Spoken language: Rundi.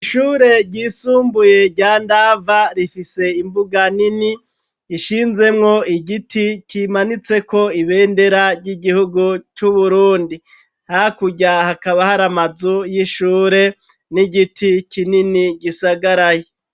Ishure ryisumbuye rya ndava rifise imbuga nini ishinzemwo igiti kimanitse ko ibendera ry'igihugu ry'uburundi hakurya hakaba hari amazu y'ishure n'igiti kinini gisagaraye.